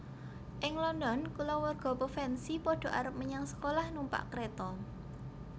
Ing London kulawarga Pevensi pada arep menyang sekolah numpak kréta